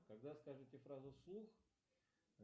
и повторяла и читала